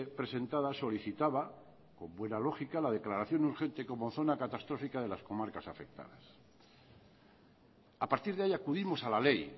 presentada solicitaba con buena lógica la declaración urgente como zona catastrófica de las comarcas afectadas a partir de ahí acudimos a la ley